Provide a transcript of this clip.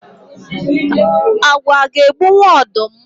Agwọ aga egbunwu ọdụm?